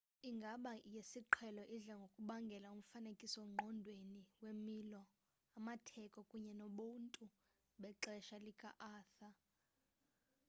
inqaba yesiqhelo idla ngokubangela umfanekiso ngqondweni wemilo amatheko kunye nobuntu bexesha lika-arthur